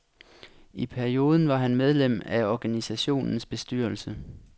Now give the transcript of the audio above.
I perioden var han medlem af organisationens bestyrelse.